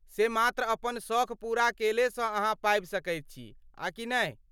से मात्र अपन सौख पूरा केलेसँ अहाँ पाबि सकैत छी, आ कि नहि?